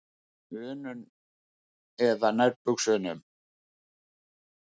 unum eða nærbuxunum.